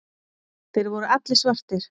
Þeir voru allir svartir.